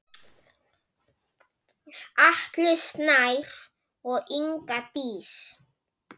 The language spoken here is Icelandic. Atli Snær og Inga Dís.